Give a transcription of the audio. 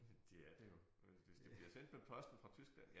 Det er det jo hvis det bliver sendt med posten fra Tyskland